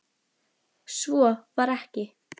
Svo var ekki.